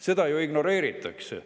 Seda ju ignoreeritakse.